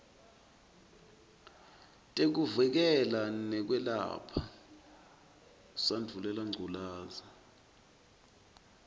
tekuvikela nekwelapha sandvulelangculazi